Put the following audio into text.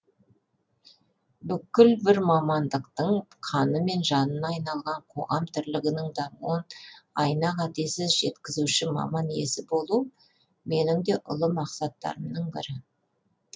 бүкіл бір мамандықтың қаны мен жанына айналған қоғам тірлігінің дамуын айна қатесіз жеткізуші маман иесі болу менің де ұлы мақсаттарымның бірі